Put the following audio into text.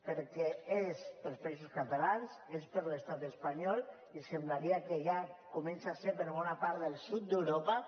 perquè és per als països catalans és per a l’estat espanyol i semblaria que ja comença a ser per a bona part del sud d’europa